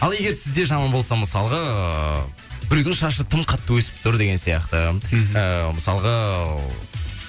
ал егер сізде жаман болса мысалға біреудің шашы тым қатты өсіп тұр деген сияқты ыыы мысалға